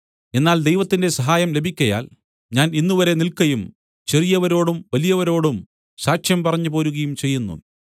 എന്നാൽ ദൈവത്തിന്റെ സഹായം ലഭിക്കയാൽ ഞാൻ ഇന്നുവരെ നിൽക്കയും ചെറിയവരോടും വലിയവരോടും സാക്ഷ്യം പറഞ്ഞ് പോരുകയും ചെയ്യുന്നു